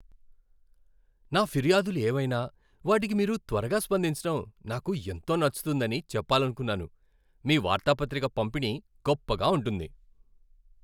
నా ఫిర్యాదులు ఏవైనా వాటికి మీరు త్వరగా స్పందించటం నాకు ఎంతో నచ్చుతుందని చెప్పాలనుకున్నాను. మీ వార్తాపత్రిక పంపిణీ గొప్పగా ఉంటుంది.